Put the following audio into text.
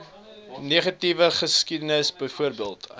negatiewe geskiedenis byvoorbeeld